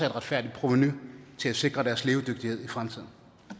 et retfærdigt provenu til at sikre deres levedygtighed i fremtiden